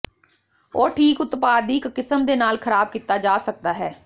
ਉਹ ਠੀਕ ਉਤਪਾਦ ਦੀ ਇੱਕ ਕਿਸਮ ਦੇ ਨਾਲ ਖਰਾਬ ਕੀਤਾ ਜਾ ਸਕਦਾ ਹੈ